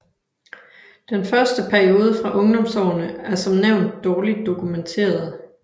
Den første periode fra ungdomsårene er som nævnt dårligt dokumenterede